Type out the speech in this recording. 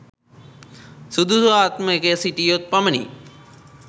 සුදුසු ආත්මයක සිටියහොත් පමණි.